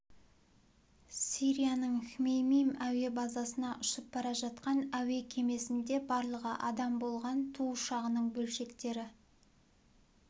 сирияның хмеймим әуе базасына ұшып бара жатқан әуе кемесінде барлығы адам болған ту ұшағының бөлшектері